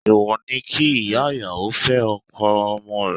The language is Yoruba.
Èwò ni kí ìyá ìyàwó fẹ́ ọkọ ọmọ rẹ̀.